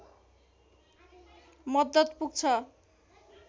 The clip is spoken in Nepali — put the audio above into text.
मद्दत पुग्छ